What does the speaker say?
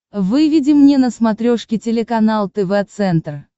выведи мне на смотрешке телеканал тв центр